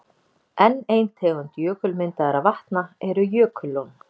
Enn ein tegund jökulmyndaðra vatna eru jökullón.